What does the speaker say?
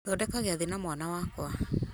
thondeka giathĩ na mwana wakwa